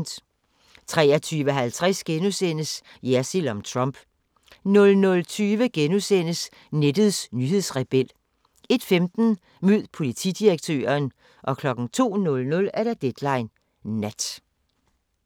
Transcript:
23:50: Jersild om Trump * 00:20: Nettets nyhedsrebel * 01:15: Mød politidirektøren 02:00: Deadline Nat